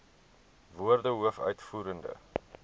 woorde hoof uitvoerende